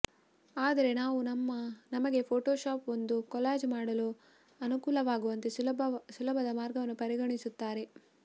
ಆದರೆ ನಾವು ನಮಗೆ ಫೋಟೊಶಾಪ್ ಒಂದು ಕೊಲಾಜ್ ಮಾಡಲು ಅನುವಾಗುವಂತೆ ಸುಲಭದ ಮಾರ್ಗವನ್ನು ಪರಿಗಣಿಸುತ್ತಾರೆ